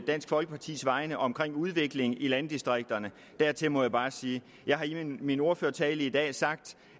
dansk folkepartis vegne om udviklingen i landdistrikterne må jeg bare sige at jeg i min ordførertale i dag har sagt